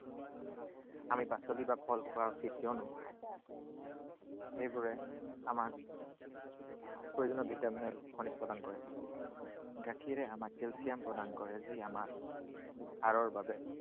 আমি পাচলি বা ফল খোৱা উচিত, কিয়নো সেইবোৰে আমাক প্ৰয়োজনীয় ভিটামিন আৰু খনিজ প্ৰদান কৰে। গাখীৰে আমাক কেলচিয়াম প্ৰদান কৰে, যিয়ে আমাৰ হাড়ৰ বাবে